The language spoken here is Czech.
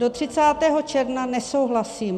Do 30. června nesouhlasím.